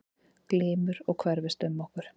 Glymur og hverfist um okkur.